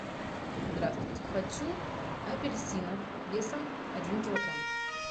здравствуйте хочу апельсинов весом один килограмм